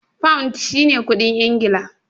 Pound shi ne kuɗin Ingila.